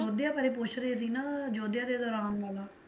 ਅਯੋਧਿਆ ਬਾਰੇ ਪੁੱਛ ਰਹੇ ਸੀ ਨਾ ਅਯੋਧਿਆ ਦੇ ਦੌਰਾਨ ਵਾਲਾ